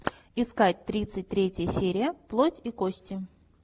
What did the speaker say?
искать тридцать третья серия плоть и кости